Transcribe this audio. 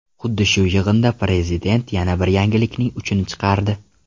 Xuddi shu yig‘inda prezident yana bir yangilikning uchini chiqardi.